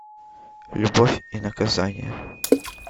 любовь и наказание